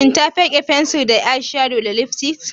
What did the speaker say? Shin ta fike fensir na eyeshadow da lipstick?